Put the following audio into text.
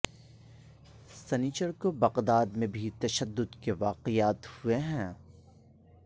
سنیچر کو بغداد میں بھی تشدد کے واقعات ہوئے ہیں